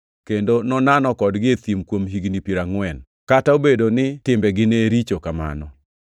kendo nonano kodgi e thim kuom higni piero angʼwen, kata obedo ni timbegi ne richo kamano.